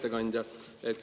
Hea ettekandja!